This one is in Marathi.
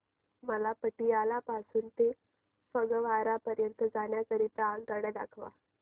मला पटियाला पासून ते फगवारा पर्यंत जाण्या करीता आगगाड्या दाखवा